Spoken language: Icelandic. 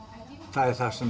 það er það sem